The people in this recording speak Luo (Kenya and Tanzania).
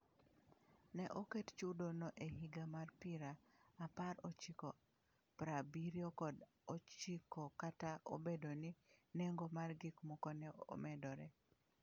Ne oket chudono e higa mar pira aparochiko prabirio kod ochiko kata obedo ni nengo mar gik moko ne medore.